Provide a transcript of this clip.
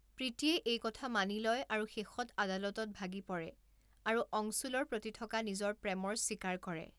প্ৰীতিয়ে এই কথা মানি লয় আৰু শেষত আদালতত ভাগি পৰে আৰু অংশুলৰ প্ৰতি থকা নিজৰ প্ৰেমৰ স্বীকাৰ কৰে।